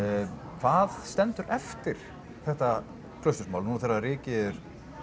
hvað stendur eftir þetta Klausturmál núna þegar rykið